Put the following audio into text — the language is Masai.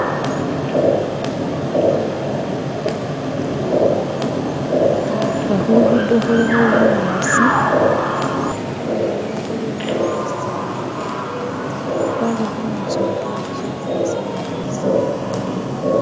lugudo lubalayi nga hulugudo huliho bunyasi hundulo huliho bisaala hwabaho nikyimi polo kyekamasanyalazi